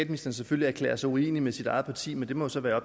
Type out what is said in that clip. jo selvfølgelig erklære sig uenig med sit eget parti men det må så være